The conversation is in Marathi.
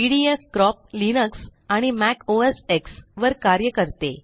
पिडीऍफ़ क्रोप लिनक्स आणि मॅक ओएस एक्स वर कार्य करते